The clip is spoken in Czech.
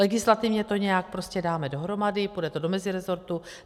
Legislativně to nějak prostě dáme dohromady, půjde to do meziresortu.